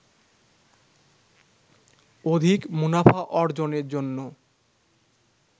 অধিক মুনাফা অর্জনের জন্য